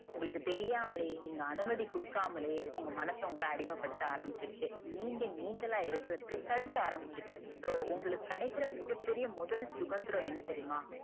உங்களுக்கு தெரியாமலையே நீங்க அனுமதி குடுக்காமலே உங்க மனசு உங்கள அடிமை படுத்த ஆரம்பிச்சுடிச்சி நீங்க நீங்களா இருக்கறதுக்கு தடுக்க ஆரம்பிச்சுட்டு so உங்களுக்கு கிடைக்கிற மிக பெரிய முதல் சுதந்திரம் என்ன தெரியுமா?